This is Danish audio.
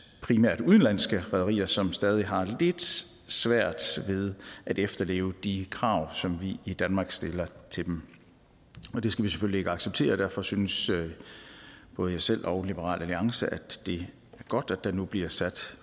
primært udenlandske rederier som stadig har lidt svært ved at efterleve de krav som vi i danmark stiller til dem det skal vi selvfølgelig ikke acceptere og derfor synes både jeg selv og liberal alliance at det er godt at der nu bliver sat